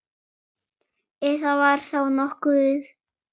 Ef það var þá nokkuð.